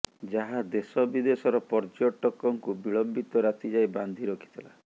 ଯାହା ଦେଶ ବିଦେଶର ପର୍ଯ୍ୟଟକଙ୍କୁ ବିଳମ୍ବିତ ରାତି ଯାଏଁ ବାନ୍ଧି ରଖିଥିଲା